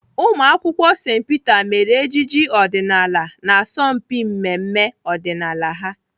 Ụmụakwụkwọ St Peter mere ejije ọdịnaala n'asọmpi mmemme ọdịnala ahụ.